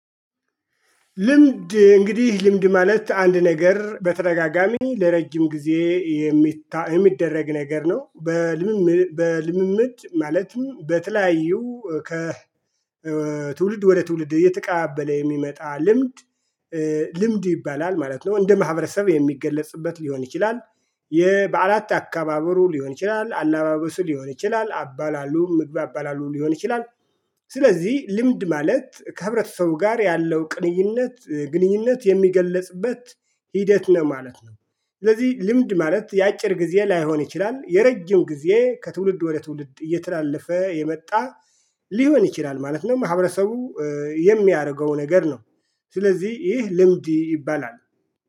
ልምድ እንግዲህ ልምድ ማለት አንድ ነገር በተረጋጋሚ ለረጅም ጊዜ የሚደረግ ነገር ነው። በልምምድ ማለትም በተለያዩ ከ ትውልድ ወደ ትውልድ እየተቀባበለ የሚመጣ ልምድ። ልምድ ይባላል ማለት ነው እንደ ማህበረሰብ የሚገለጽበት ሊሆን ይችላል የበዓላት አካባበሩ ሊሆን ይችላል አላባበሱ ሊሆን ይችላል አባላሉ ምግብ አባላሉ ሊሆን ይችላል። ስለዚህ ልምድ ማለት ከህብረተሰቡ ጋር ያለው ቅንይነት ግንኙነት የሚገለጽበት ሂደት ነው ማለት ነው። ስለዚህ ልምድ ማለት የአጭር ጊዜ ላይሆን ይችላል የረጅም ጊዜ ከትውልድ ወደ ትውልድ እየተላለፈ የመጣ ሊሆን ይችላል ማለት ነው። ማህብረተሰቡ የሚያደርገው ነገር ነው። ስለዚህ ይህ ልምድ ይባላል